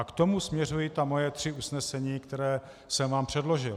A k tomu směřují ta moje tři usnesení, která jsem vám předložil.